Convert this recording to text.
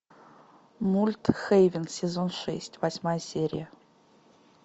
мульт хейвен сезон шесть восьмая серия